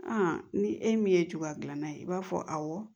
ni e min ye cogoya gilan na ye i b'a fɔ awɔ